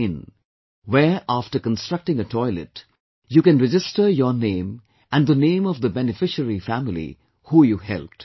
in where after constructing a toilet you can register your name and the name of the beneficiary family, who you helped